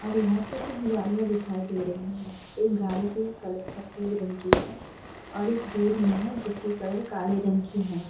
और यहाँ पे कुछ गाड़ियाँ दिखाई दे रही हैं। एक गाड़ी की कलर सफ़ेद रंग की है और एक दूर में है जिसकी कलर काले रंग की है।